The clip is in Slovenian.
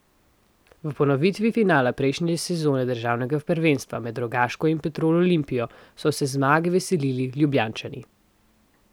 V ponovitvi finala prejšnje sezone državnega prvenstva med Rogaško in Petrol Olimpijo so se zmage veselili Ljubljančani.